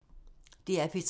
DR P3